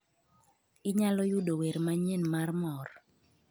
Inyalo yudo wer manyien mar mor